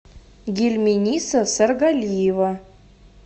гельминиса саргалиева